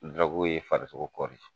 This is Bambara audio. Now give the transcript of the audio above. ye farisogo kɔri.